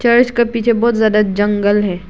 और इसका पीछे बहुत ज्यादा जंगल है।